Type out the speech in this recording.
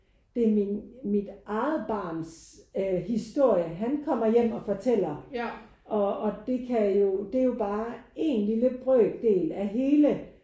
Det er min mit eget barns øh historie han kommer hjem og fortæller. Og og det kan jo det er er jo bare én lille brøkdel af hele